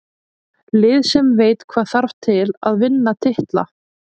Lið sem veit hvað þarf til að vinna titla.